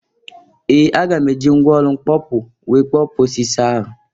Ee! Aga m e ji mgwa ọlụ mkpopu wee kpọpuo osisi ahụ.